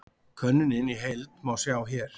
Könnunina í heild má sjá hér